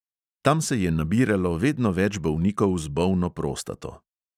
Tam se je nabiralo vedno več bolnikov z bolno prostato.